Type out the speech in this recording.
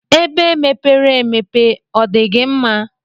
Ebe mepere emepe ọdigi mma?